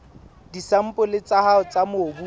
disampole tsa hao tsa mobu